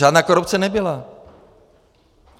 Žádná korupce nebyla!